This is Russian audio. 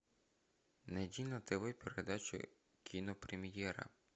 найди на тв передачу кинопремьера